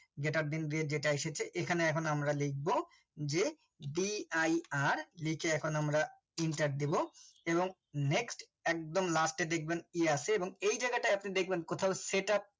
grater then দিয়ে এটা এসেছে এখানে এখন আমরা লিখব যে dir নিচে এখন আমরা enter দেবো এবং next একদম last এ দেখবেন কি আছে এবং এই জায়গাটা আপনি দেখবেন কোথাও setup